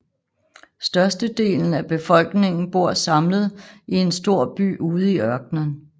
Størstedelen af befolkningen bor samlet i en stor by ude i ørkenen